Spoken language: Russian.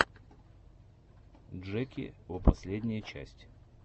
джеки о последняя часть